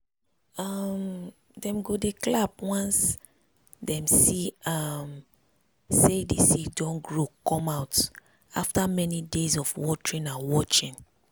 um dem go dey clap once dem see um say the seed don grow come out after many days of watering and watching.